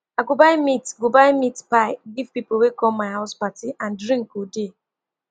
i go buy meat go buy meat pie give people wey come my house party and drink go dey